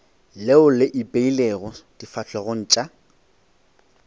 leo le ipeilego difahlegong tša